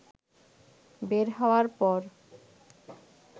বের হওয়ার পর